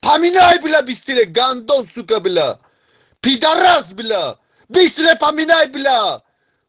поменяй бля быстрей гандон сука бля пидарас сука бля быстро поменяй бля